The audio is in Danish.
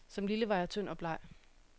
Som lille var jeg tynd og bleg.